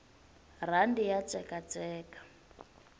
rhandi ya tsekatseka